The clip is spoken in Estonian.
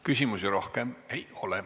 Küsimusi rohkem ei ole.